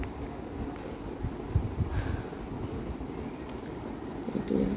সেটোয়ে